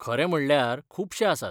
खरें म्हणल्यार खुबशे आसात.